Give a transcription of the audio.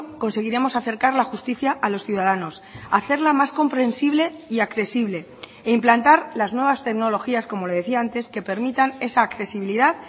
conseguiremos acercar la justicia a los ciudadanos hacerla más comprensible y accesible e implantar las nuevas tecnologías como le decía antes que permitan esa accesibilidad